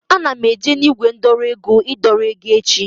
Ana m eje na ígwè ndọrọ ego idọrọ ego echi